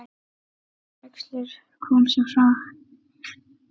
Ingvar og Júlíus syngja.